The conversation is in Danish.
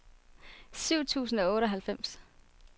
syv tusind og otteoghalvfems